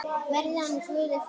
Verði hann Guði falinn.